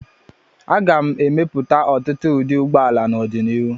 A ga-emepụta ọtụtụ ụdị ụgbọala n'ọdịnihu.